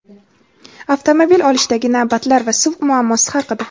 avtomobil olishdagi navbatlar va suv muammosi haqida.